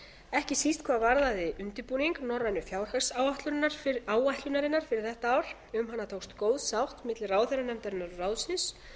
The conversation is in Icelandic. ekki síst hvað varðaði undirbúning norrænu fjárhagsáætlunarinnar fyrir þetta ár um hana tókst góð sátt milli ráðherranefndarinnar og ráðsins